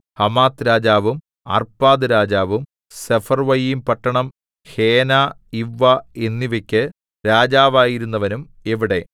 Hamath രാജാവും അർപ്പാദ്‌ രാജാവും സെഫർവ്വയീംപട്ടണം ഹേന ഇവ്വ എന്നിവക്ക് രാജാവായിരുന്നവനും എവിടെ